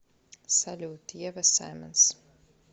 салют ева саймонс